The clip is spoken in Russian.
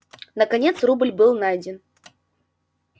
наконец рубль был найден